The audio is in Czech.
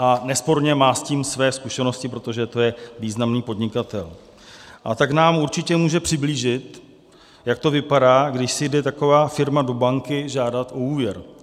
A nesporně má s tím své zkušenosti, protože to je významný podnikatel, a tak nám určitě může přiblížit, jak to vypadá, když si jde taková firma do banky žádat o úvěr.